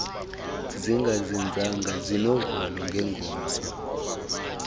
zingazinzanga sinovalo ngengomso